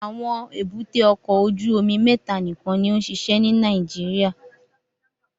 Awọn èbúté ọkọ ojú omi mẹta nikan ni o nṣiṣẹ ni Nàìjíríà